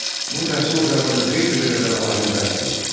Bu təhsil ocağında 500-ə qədər alim dərs deyir.